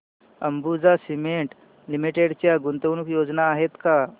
Ambuja cement limited च्या गुंतवणूक योजना आहेत का